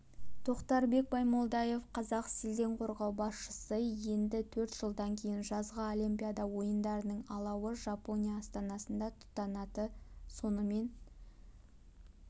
тоқтарбек баймолдаев қазақселденқорғау басшысы енді төрт жылдан кейін жазғы олимпиада ойындарының алауы жапония астанасында тұтанады сонымен